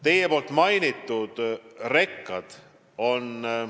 Te mainisite rekasid.